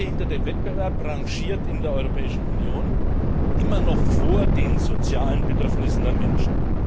Der ungehinderte Wettbewerb rangiert in der Europäischen Union immer noch vor den sozialen Bedürfnissen der Menschen.